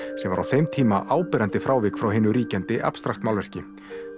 sem var á þeim tíma áberandi frávik frá hinu ríkjandi abstrakt málverki